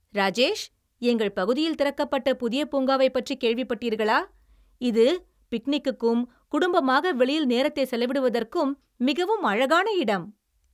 ராஜேஷ், எங்கள் பகுதியில் திறக்கப்பட்ட புதிய பூங்காவைப் பற்றி கேள்விப்பட்டீர்களா? இது பிக்னிக்குக்கும் குடும்பமாக வெளியில் நேரத்தைச் செலவிடுவதற்கும் மிகவும் அழகான இடம்.